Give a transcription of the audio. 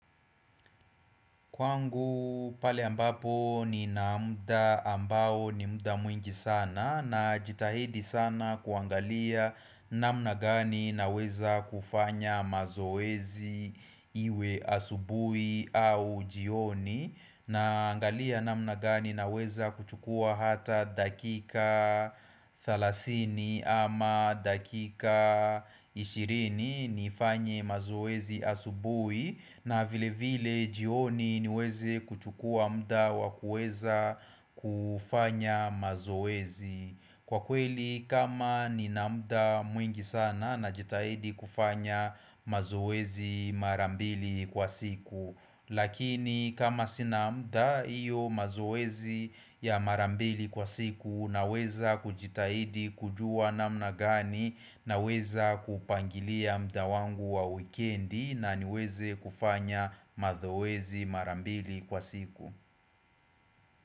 Kwangu pale ambapo nina muda ambao ni muda mwingi sana najitahidi sana kuangalia namna gani na weza kufanya mazoezi iwe asubuhi au jioni Naangalia namna gani naweza kuchukua hata dakika 30 ama dakika 20 nifanye mazoezi asubui na vile vile jioni niweze kuchukua muda wa kuweza kufanya mazoezi Kwa kweli kama nina muda mwingi sana najitahidi kufanya mazoezi mara mbili kwa siku Lakini kama sina muda hiyo mazoezi ya mara mbili kwa siku naweza kujitahidi kujua namna gani naweza kupangilia muda wangu wa wikendi na niweze kufanya mazoezi mara mbili kwa siku.